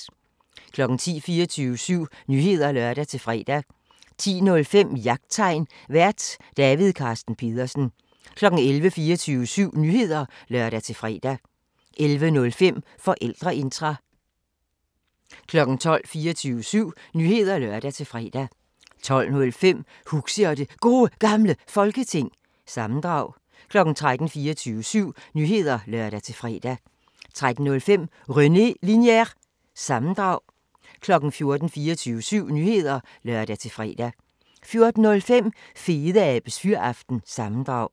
10:00: 24syv Nyheder (lør-fre) 10:05: Jagttegn Vært: David Carsten Pedersen 11:00: 24syv Nyheder (lør-fre) 11:05: Forældreintra 12:00: 24syv Nyheder (lør-fre) 12:05: Huxi og det Gode Gamle Folketing – sammendrag 13:00: 24syv Nyheder (lør-fre) 13:05: René Linjer- sammendrag 14:00: 24syv Nyheder (lør-fre) 14:05: Fedeabes Fyraften – sammendrag